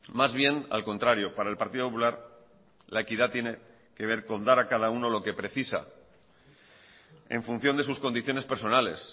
más bien al contrario para el partido popular la equidad tiene que ver con dar a cada uno lo que precisa en función de sus condiciones personales